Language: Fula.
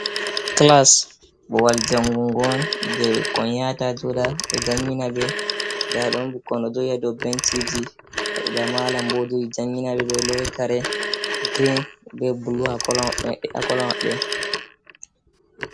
Kilas babal jangungo on, je bikkon yata joɗa be jangina be. Nɗa ɗon bikkoi ji ɗo joɗi ha benciji. Ba malam bo ɗo jodi jangina be. Be lowi kare girin be bulu ha kolo mabbe.